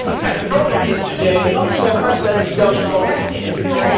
The problem today is not so much that we do not collect the info